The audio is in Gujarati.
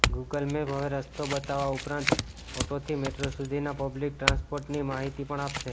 ગુગલ મેપ હવે રસ્તો બતાવવા ઉપરાંત ઓટોથી મેટ્રો સુધીના પબ્લિક ટ્રાન્સપોર્ટની માહિતી પણ આપશે